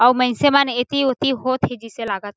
अउ माइसे मन इति ऊती होत हे जईसे से लागत हे।